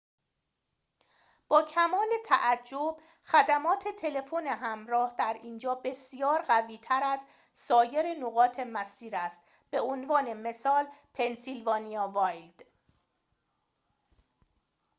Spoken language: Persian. با کمال تعجب خدمات تلفن همراه در اینجا بسیار قوی تر از سایر نقاط مسیر است به عنوان مثال پنسیلوانیا وایلد